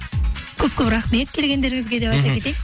көп көп рахмет келгендеріңізге деп айта кетейін мхм